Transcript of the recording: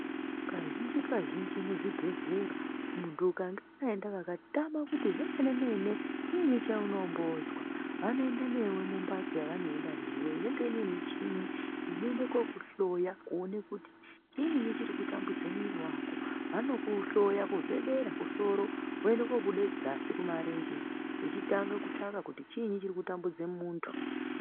Kazhinji kazhinji muzvibhedhlera muntu ukange waenda vakatama kuti zvememene chiinyi chaunombozwa, vanoenda newe mumbatso yavanoenda newe, inenge ine michini inoende kokuhloya kuone kuti chiinyi chiri kutambudze muiri wako. Vanokuhloya kubve dera kusoro voende kobude dzasi kumarenje iyo, vechitanga kutsvaka kuti chiinyi chiri kutambudze muntu.